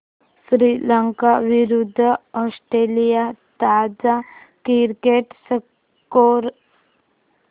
श्रीलंका विरूद्ध ऑस्ट्रेलिया ताजा cricket score